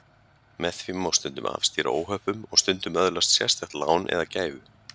Með því má stundum afstýra óhöppum og stundum öðlast sérstakt lán eða gæfu.